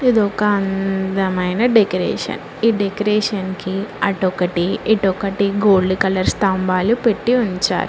ఇది ఒక అందమైన డెకరేషన్ ఈ డెకరేషన్ కి అటు ఒకటి ఇటు ఒకటి గోల్డ్ కలర్ స్తంభాలు పెట్టి ఉంచారు.